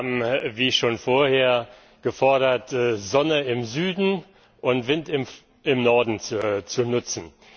Sie haben, wie schon vorher, gefordert, Sonne im Süden und Wind im Norden zu nutzen.